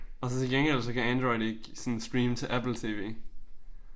Og så til gengæld så kan Android ikke sådan streame til Apple tv